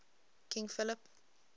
king philip